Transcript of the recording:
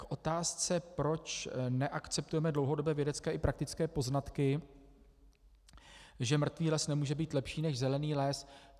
K otázce, proč neakceptujeme dlouhodobé vědecké i praktické poznatky, že mrtvý les nemůže být lepší než zelený les.